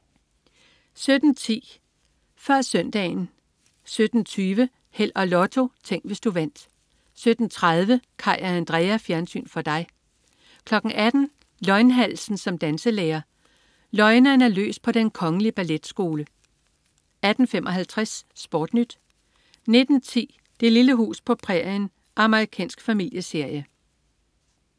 17.10 Før Søndagen 17.20 Held og Lotto. Tænk, hvis du vandt 17.30 Kaj og Andrea. Fjernsyn for dig 18.00 Løgnhalsen som danselærer. Løgneren er løs på den kongelige ballet skole 18.55 SportNyt 19.10 Det lille hus på prærien. Amerikansk familieserie